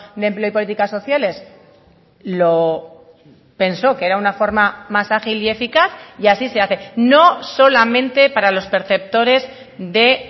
de empleo y políticas sociales lo pensó que era una forma más ágil y eficaz y así se hace no solamente para los perceptores de